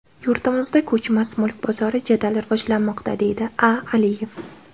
Yurtimizda ko‘chmas mulk bozori jadal rivojlanmoqda, deydi A. Aliyev.